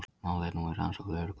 Málið er nú í rannsókn lögreglu